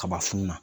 Kaba funu na